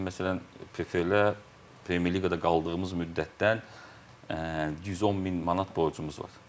bizim məsələn PFL-ə, Premyer Liqada qaldığımız müddətdən 110 min manat borcumuz var.